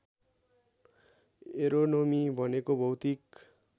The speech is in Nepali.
एरोनोमी भनेको भौतिक